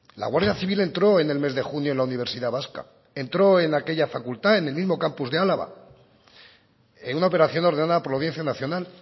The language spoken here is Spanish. la guardia civil entró en el mes de junio en la universidad vasca entró en aquella facultad en el mismo campus de álava en una operación ordenada por la audiencia nacional